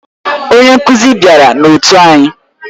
Onye nkuzi bịara na otu anyị.